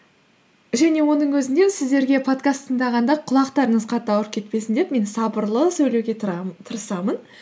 және оның өзінде сіздерге подкаст тыңдағанда құлақтарыңыз қатты ауырып кетпесін деп мен сабырлы сөйлеуге тырысамын